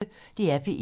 DR P1